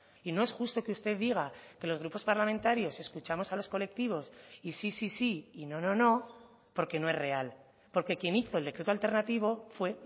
y no es justo que usted diga que los grupos parlamentarios escuchamos a los colectivos y sí sí sí y no no no porque no es real porque quien hizo el decreto alternativo fue